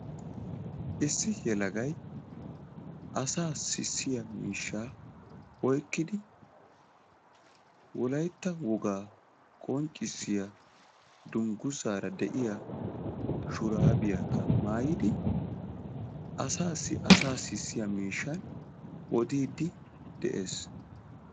Issi yelagay asaa sissiya miishshaa oykidi wolayitta wogaa qonccissiya dungussaaara de"iya shuraabiyaakka maayidi asaasi asaa sissiya miishshan odiiddi de'ees.